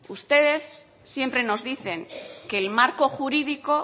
ustedes siempre nos dicen que el marco jurídico